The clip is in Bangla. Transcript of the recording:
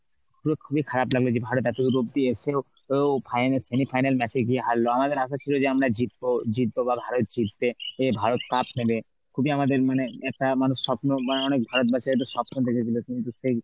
পুরো খুবই খারাপ লাগবে যে ভারত এত দূর অবদি এসেও ও final, semi final match এ গিয়ে হারলো. আমাদের আশা ছিল যে আমরা জিতব, জিতব বা ভারত জিতবে, এ ভারত cup নেবে খুবই আমাদের মানে একটা মানে স্বপ্ন বা অনেক ভারতবাসী একটা স্বপ্ন দেখেছিল কিন্তু সেই